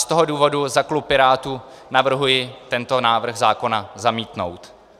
Z toho důvodu za klub pirátů navrhuji tento návrh zákona zamítnout.